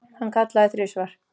Hann kallaði þrisvar.